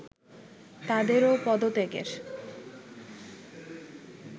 তাদেরও পদত্যাগের